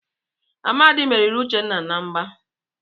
Amadi merìrì Uchenna na mgbà.